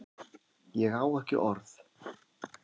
Ég á ekki orð